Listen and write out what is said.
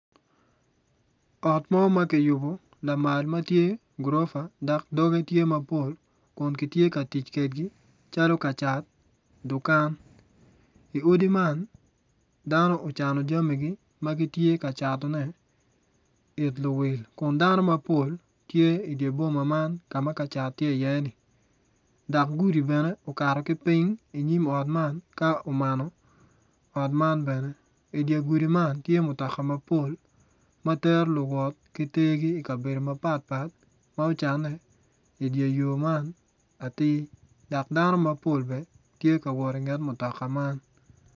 Ot mo ma kiyubo lamal ma tye gurofa dok doge tye mapol kun kitye ka tic kwedgi calo ka cat dukan. I odi man dano ocano jamigi ma gitye ka catone it luwil kun dano mapol tye idi boma man ka ma ka cat tye iye-ni dok gudi bene okato ki piny inyim ot man ka mano ot man bene idye gudi man tye mutoka mapol ma tero luwot ki tegi ikabedo mapatpat ma ocane idye yo man atir dok dano mapol bene tye ka wot inget mutoka man.